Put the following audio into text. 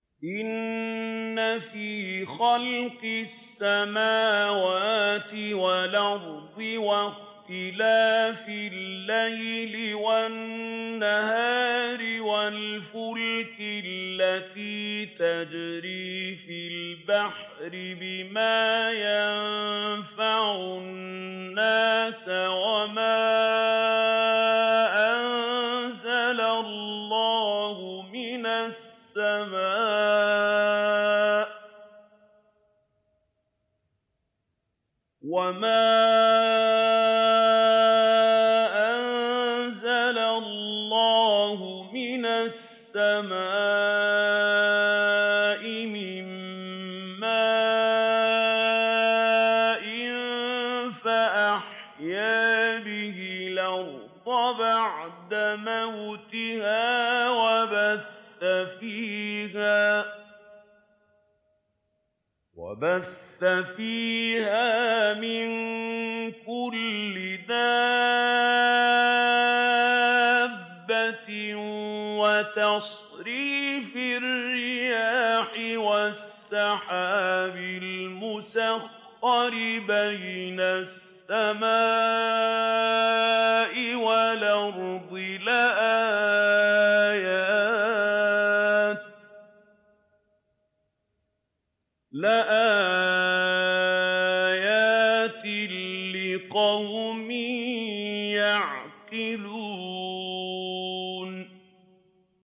إِنَّ فِي خَلْقِ السَّمَاوَاتِ وَالْأَرْضِ وَاخْتِلَافِ اللَّيْلِ وَالنَّهَارِ وَالْفُلْكِ الَّتِي تَجْرِي فِي الْبَحْرِ بِمَا يَنفَعُ النَّاسَ وَمَا أَنزَلَ اللَّهُ مِنَ السَّمَاءِ مِن مَّاءٍ فَأَحْيَا بِهِ الْأَرْضَ بَعْدَ مَوْتِهَا وَبَثَّ فِيهَا مِن كُلِّ دَابَّةٍ وَتَصْرِيفِ الرِّيَاحِ وَالسَّحَابِ الْمُسَخَّرِ بَيْنَ السَّمَاءِ وَالْأَرْضِ لَآيَاتٍ لِّقَوْمٍ يَعْقِلُونَ